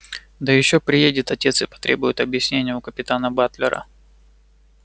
да ещё приедет отец и потребует объяснения у капитана батлера